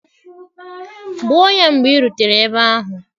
Gbụọ ya mgbe ị rutere ebe ahụ.